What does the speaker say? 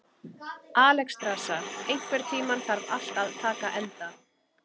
Alexstrasa, einhvern tímann þarf allt að taka enda.